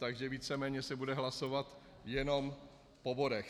Takže víceméně se bude hlasovat jenom o bodech.